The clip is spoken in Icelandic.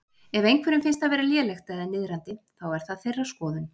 Ef einhverjum finnst það vera lélegt eða niðrandi, þá er það þeirra skoðun.